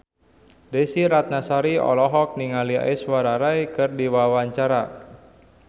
Desy Ratnasari olohok ningali Aishwarya Rai keur diwawancara